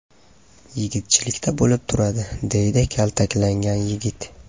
Yigitchilikda bo‘lib turadi”, – deydi kaltaklangan yigit.